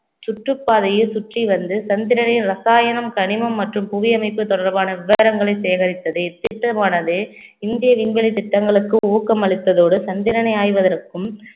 சுற்றுப்பாதையை சுற்றி வந்து சந்திரனின் ரசாயனம் கனிமம் மற்றும் புவியமைப்பு தொடர்பான விவரங்களை சேகரித்தது இத்திட்டமானது இந்திய விண்வெளி திட்டங்களுக்கு ஊக்கம் அளித்ததோடு சந்திரனை ஆய்வதற்கும்